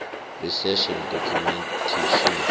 research and documentation